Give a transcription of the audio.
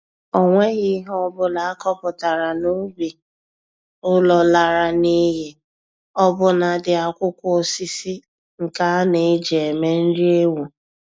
O nweghi ihe ọbụla a kọpụtara n'ubi ụlọ lara n'iyi, ọbụna dị akwụkwọ osisi ka aneji eme nri ewu.